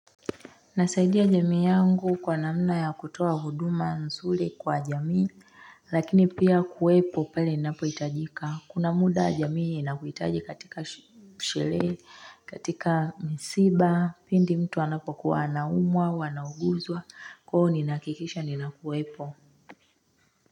Nasaidia jamii yangu kwa namna ya kutoa huduma nzuri kwa jamii lakini pia kuwepo pale ninapo hitajika kuna muda wa jamii inakuhitaji katika sherehe katika msiba pindi mtu anapokuwa anaumwa wanauguzwa kwa hiyo ninahakikisha ninakuwepo.